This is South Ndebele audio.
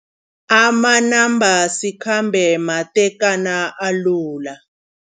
Amanambasikhambe matekana alula.